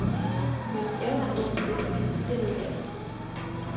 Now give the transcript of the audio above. Hendes evner er uomtvistelige, det ved alle.